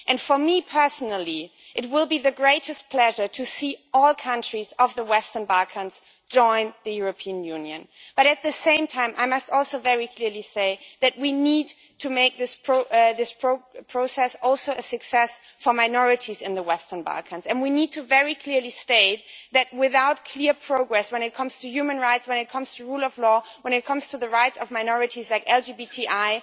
And for me personally, it will be the greatest pleasure to see all countries of the Western Balkans join the European Union. But at the same time, I must also very clearly say that we also need to make this process a success for minorities in the Western Balkans. We need to state very clearly that without clear progress when it comes to human rights, when it comes to the rule of law, when it comes to the rights of minorities like LGBTI,